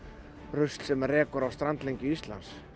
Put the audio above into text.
rusl sem rekur á strandlengju Íslands